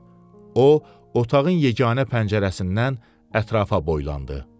O otağın yeganə pəncərəsindən ətrafa boylandı.